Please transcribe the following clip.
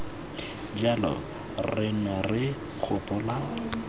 jalo re ne re gopola